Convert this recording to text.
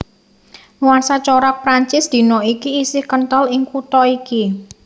Nuansa corak Prancis dina iki isih kenthel ing kutha iki